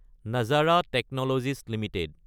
Nazara technologies Ltd